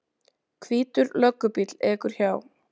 Hvítur löggubíll ekur hjá.